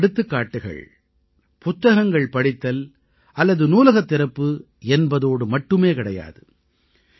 இந்த எடுத்துக்காட்டுகள் புத்தகங்கள் படித்தல் அல்லது நூலகத் திறப்பு என்பதோடு மட்டுமே கிடையாது